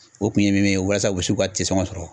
O kun ye min min ye walasa u be s'u ka te sɔgɔn sɔrɔ